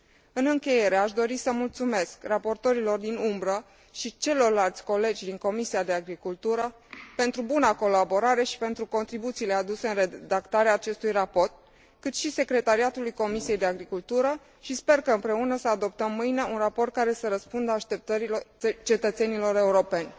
În încheiere, aș dori să mulțumesc raportorilor din umbră și celorlalți colegi din Comisia pentru agricultură pentru buna colaborare și pentru contribuțiile aduse în redactarea acestui raport, cât și secretariatului Comisiei pentru agricultură și sper ca, împreună, să adoptăm mâine un raport care să răspundă așteptărilor cetățenilor europeni.